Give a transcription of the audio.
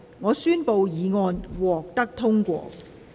我宣布議案獲得通過。